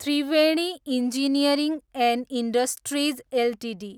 Triveni engineering and industries Ltd